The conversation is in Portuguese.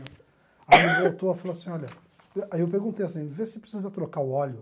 Aí ele voltou e falou assim, olha, aí eu perguntei assim, vê se precisa trocar o óleo.